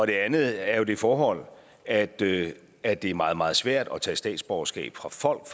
det andet er det forhold at det er det er meget meget svært at tage statsborgerskab fra folk